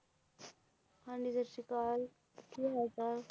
ਹਾਂਜੀ ਸਤਿ ਸ਼੍ਰੀ ਅਕਾਲ ਕੀ ਹਾਲ ਚਾਲ